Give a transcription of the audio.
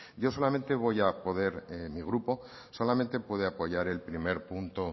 yo solamente mi grupo solamente puede apoyar el primer punto